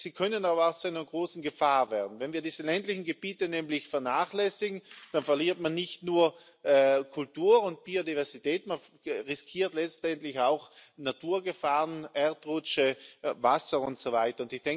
Sie können aber auch zu einer großen Gefahr werden. Wenn wir diese ländlichen Gebiete nämlich vernachlässigen, dann verliert man nicht nur Kultur und Biodiversität, man riskiert letztendlich auch Naturgefahren Erdrutsche, Wasser und so weiter.